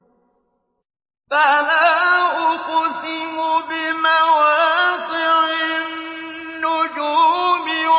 ۞ فَلَا أُقْسِمُ بِمَوَاقِعِ النُّجُومِ